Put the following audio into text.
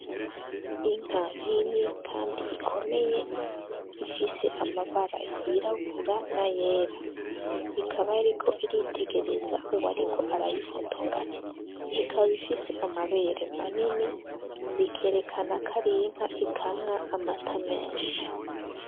Inka nini kandi ikomeye ifise amabara yirabura n'ayera, ikaba iriko iritegereza uwariko arayifotora , ikaba ifise amabere manini bikerekana ko ari inka ikamwa amata menshi.